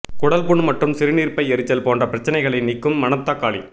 குடல் புண் மற்றும் சிறுநீர்ப்பை எரிச்சல் போன்ற பிரச்சனைகளை நீக்கும் மணத்தக்காளி